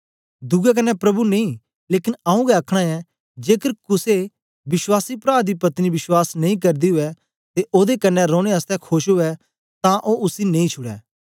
दुए कन्ने प्रभु नेई लेकन आऊँ गै आखना ऐं जेकर कुसे विश्वासी प्रा दी पत्नी विश्वास नेई करदी उवै ते ओदे कन्ने रौने आसतै खोश उवै तां ओ उसी नेई छुड़ै